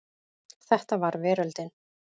Þetta var veröldin.